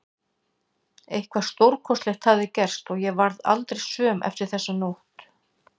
Eitthvað stórkostlegt hafði gerst og ég varð aldrei söm eftir þessa nótt.